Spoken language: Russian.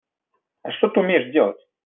а что ты умеешь делать